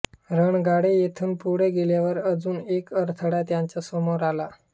रणगाडे येथून पुढे गेल्यावर अजून एक अडथळा त्यांच्या समोर आला